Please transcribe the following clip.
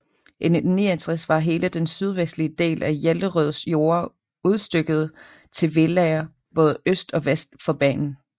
I 1969 var hele den sydvestlige del af Jellerøds jorder udstykket til villaer både øst og vest for banen